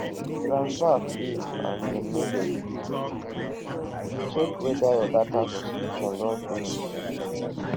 if transfer fail and dem no debit you check whether your data subscription don finish